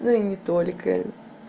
ну и не только